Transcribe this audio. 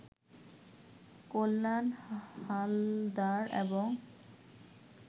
কল্যাণ হালদার এবং